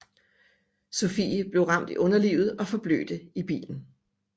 Sophie blev ramt i underlivet og forblødte i bilen